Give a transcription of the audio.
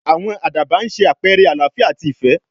àwọn àdàbà ń sé àpẹrẹ àlááfíà àti ìfẹ́